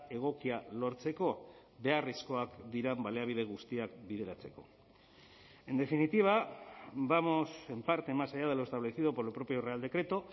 egokia lortzeko beharrezkoak diren baliabide guztiak bideratzeko en definitiva vamos en parte más allá de lo establecido por el propio real decreto